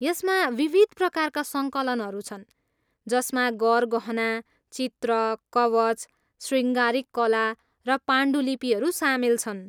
यसमा विविध प्रकारका सङ्कलनहरू छन् जसमा गरगहना, चित्र, कवच, शृङ्गारिक कला र पाण्डुलिपिहरू सामेल छन्।